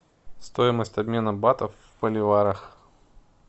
стоимость обмена батов в боливарах